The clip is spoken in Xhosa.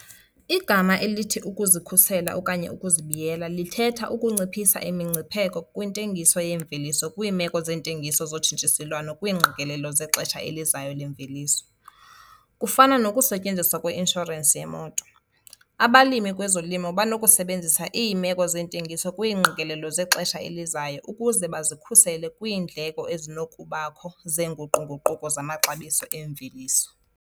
Igama elithi 'ukuzikhusela okanye ukuzibiyela' lithetha ukunciphisa imingcipheko kwintengiso yeemveliso kwiimeko zeentengiso zotshintshiselwano kwiingqikelelo zexesha elizayo leemveliso. Kufana nokusetyenziswa kweinshorensi yemoto, abalimi kwezolimo banokusebenzisa iimeko zentengiso kwiingqikelelo zexesha elizayo ukuze bazikhusele kwiindleko ezinokubakho zeenguqu-nguquko zamaxabiso eemveliso.